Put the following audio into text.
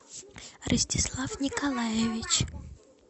ростислав николаевич